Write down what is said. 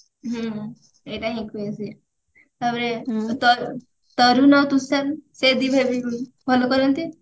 ହୁଁ ଏଇଟା ହିନ କୁହେ ସେ ତାପରେ ତ ତରୁଣ ଆଉ ସୁଶାନ୍ତ ସେ ଦି ଭାଇ ବି ଭଲ କରନ୍ତି